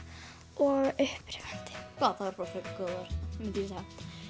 og upprífandi vá það eru bara frekar góð orð myndi ég segja